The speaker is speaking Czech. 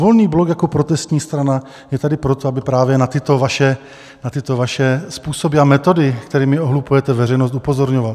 Volný blok jako protestní strana je tady proto, aby právě na tyto vaše způsoby a metody, kterými ohlupujete veřejnost, upozorňoval.